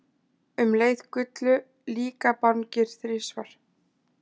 Um leið gullu líkabangir þrisvar.